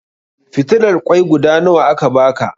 Fitilar ƙoi guda nawa aka baka?